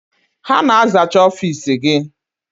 Ha na-azacha ọfiisi gị?